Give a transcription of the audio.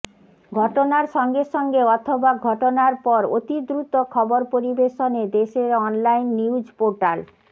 ঘটনার সঙ্গে সঙ্গে অথবা ঘটনার পর অতি দ্রুত খবর পরিবেশনে দেশের অনলাইন নিউজপোর্টাল